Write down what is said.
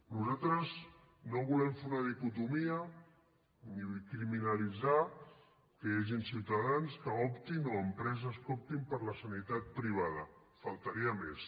nosaltres no volem fer una dicotomia ni criminalitzar que hi hagin ciutadans que optin o empreses que optin per la sanitat privada faltaria més